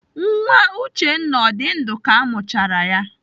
Nwa Uchenna ọ dị ndụ ka amụchara ya?